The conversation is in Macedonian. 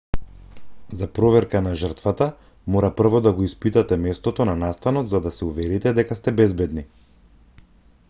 за проверка на жртвата мора прво да го испитате местото на настанот за да се уверите дека сте безбедни